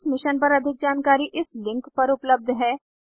इस मिशन पर अधिक जानकारी इस लिंक पर उपलब्ध है